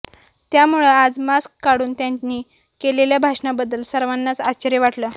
त्यामुळं आज मास्क काढून त्यांनी केलेल्या भाषणाबद्दल सर्वांनाच आश्चर्य वाटलं